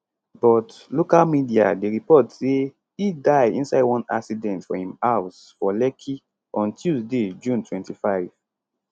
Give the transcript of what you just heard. but local media dey report say e die inside one accident for im house for lekki on tuesday june 25